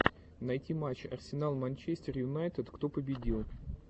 найти матч арсенал манчестер юнайтед кто победил